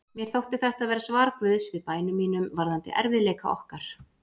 Mér þótti þetta vera svar Guðs við bænum mínum varðandi erfiðleika okkar.